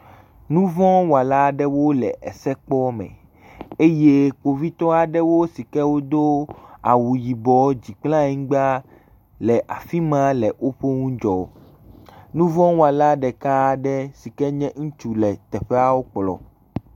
Nuvɔla aɖewo le ese kpɔ me eye kpovitɔ aɖewo si ke wod wu yibɔ dzi kple anyigba le afi ma le woƒe nu dzɔm. Nuvɔwɔla ɖeka aɖe si nye ŋutsu le wonu dzɔm.